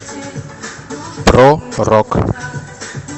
про рок